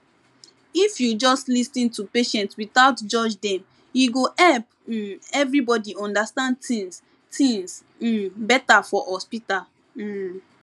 if you just lis ten to patient without judge dem e go help um everybody understand things things um better for hospital um